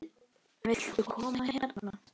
Viltu koma hérna?